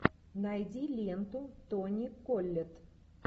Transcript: найди ленту тони коллетт